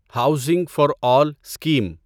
housing for all scheme